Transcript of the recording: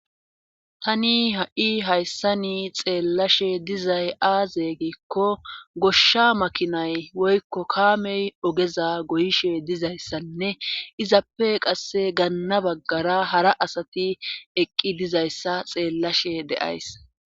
tani ha7i hayssani xeellashe dizay aaze giikko goshsha makinay woykko kaamey ogeza goyishe dizayssanne izappe qasse ganna baggara hara asati eqqi dizayssa xeellashe deays